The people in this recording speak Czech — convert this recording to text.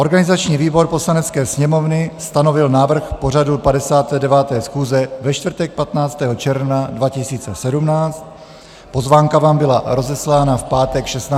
Organizační výbor Poslanecké sněmovny stanovil návrh pořadu 59. schůze ve čtvrtek 15. června 2017, pozvánka vám byla rozeslána v pátek 16. června.